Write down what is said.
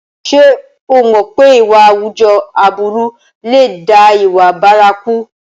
Ṣé o mọ̀ pé ìwà àwùjọ aburú lè dá ìwà bárakú?